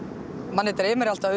manni dreymir alltaf